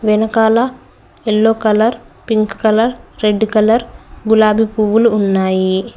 వెనకాల yellow colour pink colour red colour గులాబీ పువ్వులు ఉన్నాయి.